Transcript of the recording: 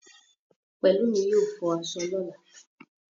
Pẹ̀lúmi yóò fọ aṣọ lọ̀la